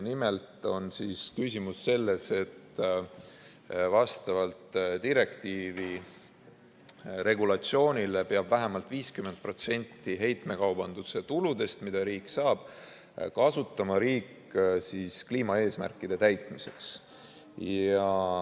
Nimelt on küsimus selles, et vastavalt direktiivi regulatsioonile peab vähemalt 50% heitmekaubanduse tuludest, mida riik saab, kasutama kliimaeesmärkide täitmiseks.